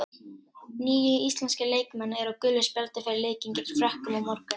Níu íslenskir leikmenn eru á gulu spjaldi fyrir leikinn gegn Frökkum á morgun.